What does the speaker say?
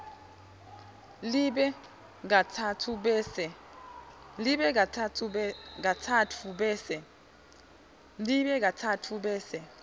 libe katsatfu bese